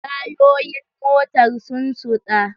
Tayoyin motar sun suɗa.